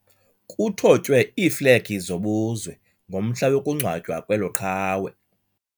Kuthotywe iiflegi zobuzwe ngomhla wokungcwatywa kwelo qhawe.